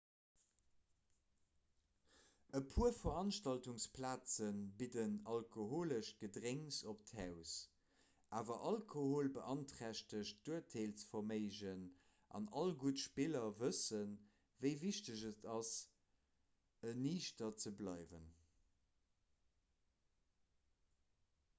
e puer veranstaltungsplaze bidden alkoholesch gedrénks op d'haus awer alkohol beanträchtegt d'urteelsverméigen an all gutt spiller wëssen wéi wichteg et ass eniichter ze bleiwen